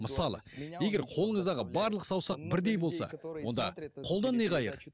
мысалы егер қолыңыздағы барлық саусақ бірдей болса онда қолдан не қайыр